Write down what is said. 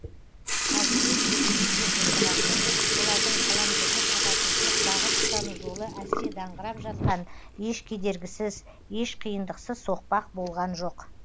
ал күрес жүргізу деп отырғанымыз олардың қаламгерлік ағартушылық бағыт ұстану жолы әсте даңғырап жатқан еш кедергісіз еш қиындықсыз соқпақ болған жоқ